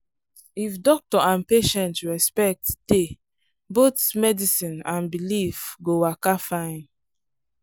if doctor and patient respect dey both medicine and belief go waka fine.**